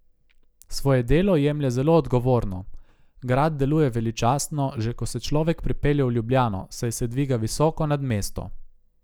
Svoje delo jemlje zelo odgovorno: 'Grad deluje veličastno, že ko se človek pripelje v Ljubljano, saj se dviga visoko nad mesto.